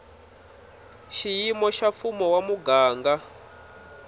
xiyimo xa mfumo wa muganga